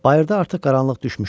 Bayırda artıq qaranlıq düşmüşdü.